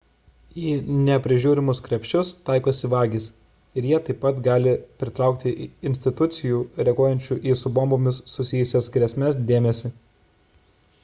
į neprižiūrimus krepšius taikosi vagys ir jie taip pat gali pritraukti institucijų reaguojančių į su bombomis susijusias grėsmes dėmesį